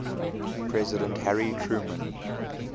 president harry truman